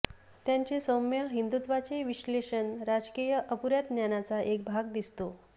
त्यांचे सौम्य हिंदुत्वाचे विश्लेषण राजकीय अपुऱ्या ज्ञानाचा एक भाग दिसतो